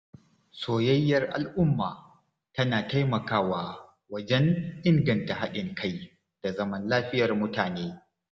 Soyayyar al’umma tana taimakawa wajen inganta haɗin kai da zaman lafiyar mutane.